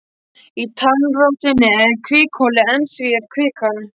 Í tannrótinni er kvikuholið en í því er kvikan.